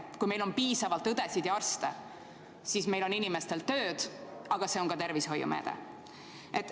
Kui meil on piisavalt õdesid ja arste, siis meie inimestel on tööd – see on samuti tervishoiumeede.